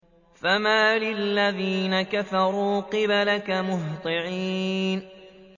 فَمَالِ الَّذِينَ كَفَرُوا قِبَلَكَ مُهْطِعِينَ